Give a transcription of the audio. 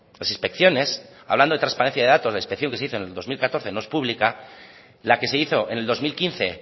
las inspecciones hablando de transparencia de datos la inspección que se hizo en el dos mil catorce no es pública la que se hizo en el dos mil quince